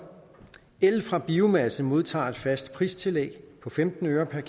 el fra biomasse modtager et fast pristillæg på femten øre per